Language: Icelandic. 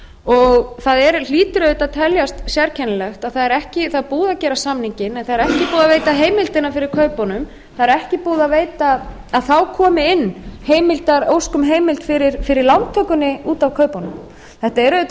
þau það hlýtur auðvitað að teljast sérkennilegt að það er búið að gera samninginn en það er ekki búið að veita heimildina fyrir kaupunum það er ekki búið að veita að þá komi inn ósk um heild fyrir lántökunni út af kaupunum þetta er auðvitað